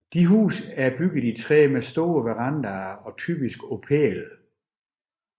Disse huse er bygget i træ med store verandaer og typisk på pæle